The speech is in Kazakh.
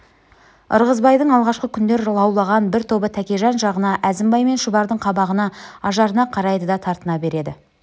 ырғызбайдың алғашқы күндер лаураған бір тобы тәкежан жағына әзімбай мен шұбардың қабағына ажарына қарайды да тартына береді